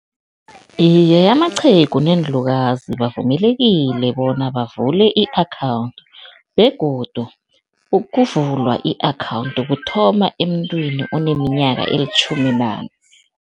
Iye, amaqhegu neenlukazi bavumelekile bona bavule i-account begodu ukuvulwa i-account kuthoma emuntwini oneminyaka elitjhumi nane.